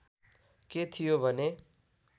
के थियो भने